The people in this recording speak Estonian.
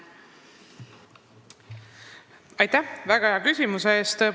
Aitäh väga hea küsimuse eest!